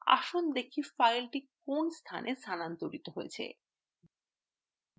আসুন দেখি file কোন স্থানএ স্থানান্তরিত হয়েছে